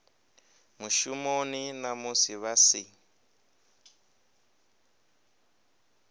mushumoni na musi vha si